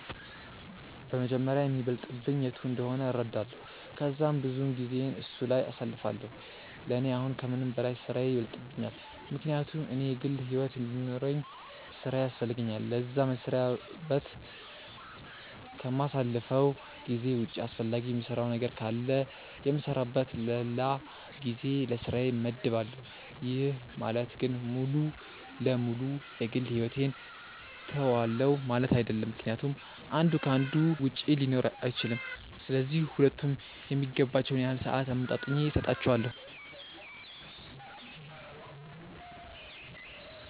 በመጀመሪያ የሚበልጥብኝ የቱ እንደሆነ እረዳለው ከዛም ብዙውን ጊዜየን እሱ ላይ አሳልፋለው፤ ለኔ አሁን ከምንም በላይ ስራዬ ይበልጥብኛል ምክንያቱም እኔ የግል ሕይወት እንዲኖርውኝ ስራዬ ያስፈልገኛል ለዛ፤ መስሪያ በት ከማሳልፈው ጊዜ ውጪ አስፈላጊ የምሰራው ነገር ካለ የምሰራበት ለላ ጊዜ ለስራዬ መድባለው፤ ይህ ማለት ግን ሙሉ ለ ሙሉ የ ግል ሕይወቴን ትውዋለው ማለት አይድለም ምክንያቱም አንዱ ከ አንዱ ውጪ ሊኖር አይችልም፤ ስለዚህ ሁለቱም የሚገባቸውን ያህል ሰአት አመጣጥኜ ሰጣቸዋለው።